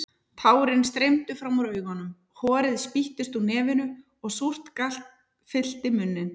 Tárin streymdu fram úr augunum, horið spýttist úr nefinu og súrt gall fyllti munninn.